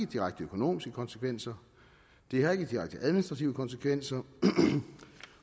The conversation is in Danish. direkte økonomiske konsekvenser det har ikke direkte administrative konsekvenser